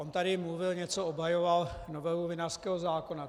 On tady mluvil, něco obhajoval, novelu vinařského zákona.